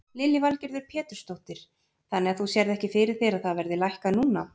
Lillý Valgerður Pétursdóttir: Þannig að þú sérð ekki fyrir þér að það verði lækkað núna?